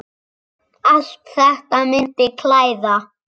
Allt þetta myndi klæða